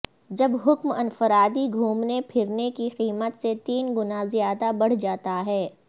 جب حکم انفرادی گھومنے پھرنے کی قیمت سے تین گنا زیادہ بڑھ جاتا ہے